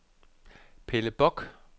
Pelle Bock